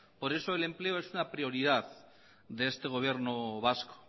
por eso el empleo es una prioridad de este gobierno vasco